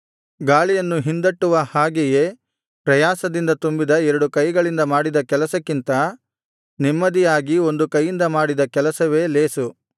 ಗಾಳಿಯನ್ನು ಹಿಂದಟ್ಟುವ ಹಾಗೆಯೇ ಪ್ರಯಾಸದಿಂದ ತುಂಬಿದ ಎರಡು ಕೈಗಳಿಂದ ಮಾಡಿದ ಕೆಲಸಕ್ಕಿಂತ ನೆಮ್ಮದಿಯಾಗಿ ಒಂದು ಕೈಯಿಂದ ಮಾಡಿದ ಕೆಲಸವೇ ಲೇಸು